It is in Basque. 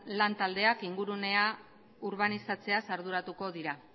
lan taldeak ingurunea urbanizatzeaz arduratuko dira